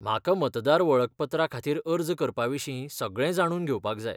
म्हाका मतदार वळखपत्रा खातीर अर्ज करपाविशीं सगळें जाणून घेवपाक जाय.